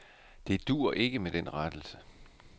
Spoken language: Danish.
Det duer ikke med den rettelse.